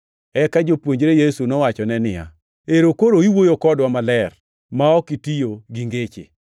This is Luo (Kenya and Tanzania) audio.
Eka jopuonjre Yesu nowachone niya, “Ero koro iwuoyo kodwa maler ma ok itiyo gi ngeche.